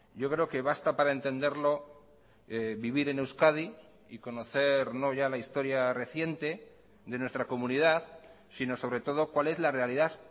yo creo que basta para entenderlo vivir en euskadi y conocer no ya la historia reciente de nuestra comunidad sino sobre todo cuál es la realidad